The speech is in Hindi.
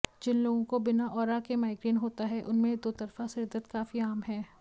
जिन लोगों को बिना ऑरा के माइग्रेन होता है उनमें दोतरफा सिरदर्द काफी आम है